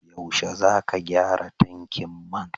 Yaushe zaka gyara tankin man?